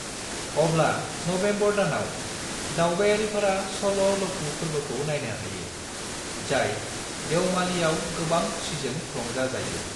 अब्ला नबेम्बर दानाव, दावबायारिफोरा चल' ल'कू फोर्बोखौ नायनो हायो, जाय देवमालीयाव गोबां खुसिजों रंजाजायो।